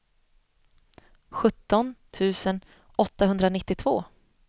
sjutton tusen åttahundranittiotvå